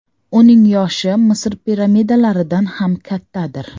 Uning yoshi Misr piramidalaridan ham kattadir.